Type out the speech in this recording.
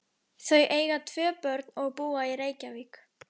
Þau eiga tvö börn og búa í Reykjavík.